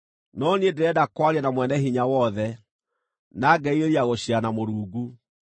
No niĩ ndĩrenda kwaria na Mwene-Hinya-Wothe, na ngerirĩria gũciira na Mũrungu.